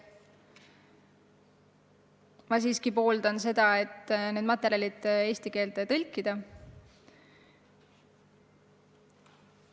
Ma siiski pooldan seda, et need materjalid eesti keelde tõlkida.